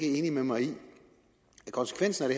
enig med mig i at konsekvenserne